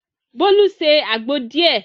Bolu se àgbo díẹ̀.